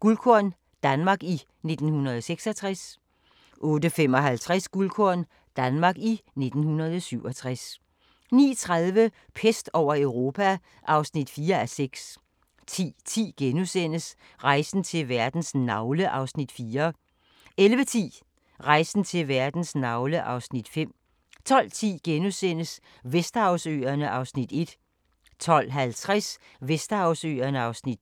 Guldkorn – Danmark i 1966 * 08:55: Guldkorn – Danmark i 1967 09:30: Pest over Europa (4:6) 10:10: Rejsen til verdens navle (Afs. 4)* 11:10: Rejsen til verdens navle (Afs. 5) 12:10: Vesterhavsøerne (Afs. 1)* 12:50: Vesterhavsøerne (Afs. 2)